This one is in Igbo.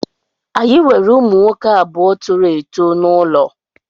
Anyị nwere ụmụ nwoke abụọ toro eto n'ụlọ